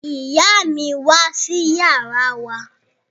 Ìyá mi wá sí yàrá wa